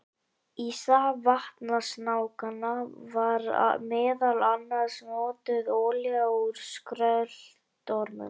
Í stað vatnasnákanna var meðal annars notuð olía úr skröltormum.